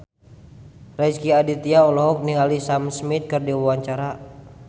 Rezky Aditya olohok ningali Sam Smith keur diwawancara